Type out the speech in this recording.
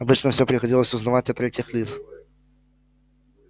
обычно все приходилось узнавать от третьих лиц